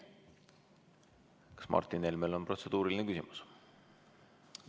Kas Martin Helmel on protseduuriline küsimus?